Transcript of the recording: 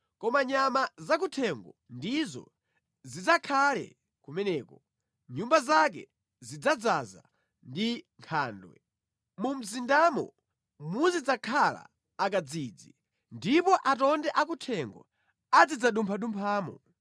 Koma nyama zakuthengo ndizo zidzakhale kumeneko, nyumba zake zidzadzaza ndi nkhandwe; mu mzindamo muzidzakhala akadzidzi, ndipo atonde akuthengo azidzalumphalumphamo.